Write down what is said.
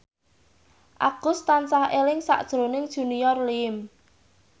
Agus tansah eling sakjroning Junior Liem